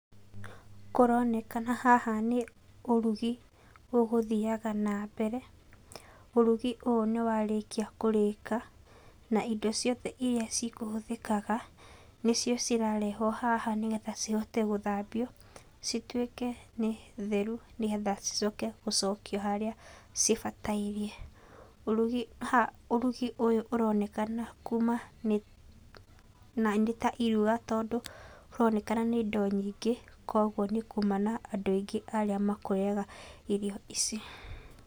Kũronekana haha nĩ ũrugi ũgũthiaga nambere, ũrugi ũũ nĩ warĩkia kũrĩka na indo ciothe iria cikũhũthĩkaga nĩcio cirarehwo haha nĩgetha cihote gũthambio, cituĩke nĩ theru nĩgetha cicoke gũcokio harĩa cibatairie. Ha ũrugi ũyũ ũronekana kuma nĩ ta iruga tondũ kũronekana nĩ indo nyingĩ, koguo nĩ kuma na andũ aingĩ arĩa makũrĩaga irio ici.